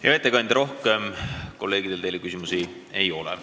Hea ettekandja, kolleegidel rohkem teile küsimusi ei ole.